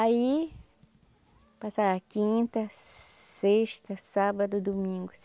Aí, passava quinta, sexta, sábado, domingo.